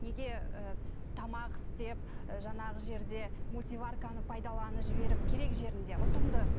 неге ііі тамақ істеп ііі жаңағы жерде мультиварканы пайдаланып жіберіп керек жерінде ұтымды